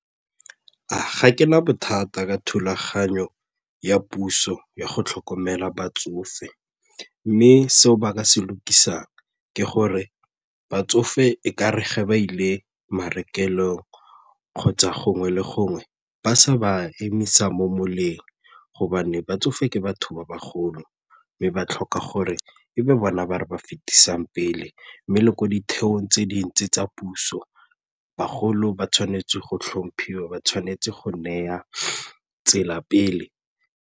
Ga ke na bothata ka thulaganyo ya puso ya go tlhokomela batsofe mme seo ba ka se le lokisang ke gore batsofe e kare ge ba ile marekelong kgotsa gongwe le gongwe ba sa ba emisa mo moleng gobane ba tsofe ke batho ba bagolo mme ba tlhoka gore e be bona ba re ba fetisang pele mme le ko ditheong tse dintsi tsa puso bagolo ba tshwanetse go tlhomphiwa ba tshwanetse go neya tsela pele.